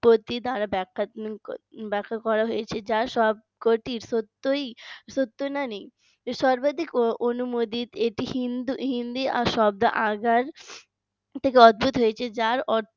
পত্তি দ্বারা ব্যাক্ষা ক করা হয়েছে যার সবকটি সত্যই সত্য নানি সর্বাধিক অনুমোদিত এটি হিন্দু হিন্দি শব্দ আগ যার অর্থ